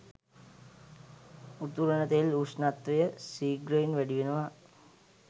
උතුරන තෙල් උෂ්ණත්වය ශීඝ්‍රයෙන් වැඩි වෙනවා.